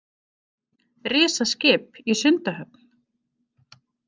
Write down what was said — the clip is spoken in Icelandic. Risaskip í Sundahöfn